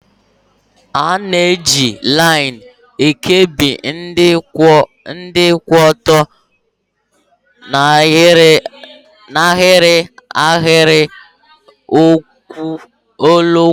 A na-eji laịn regulatọ ekebi ndị kwụ ọtọ n'ahịrị n'ahịrị n'ụlọakụ.